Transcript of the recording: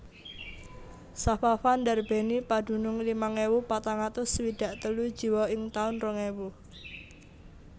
Safafa ndarbèni padunung limang ewu patang atus swidak telu jiwa ing taun rong ewu